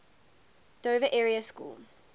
dover area school